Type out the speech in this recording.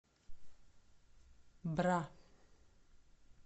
бра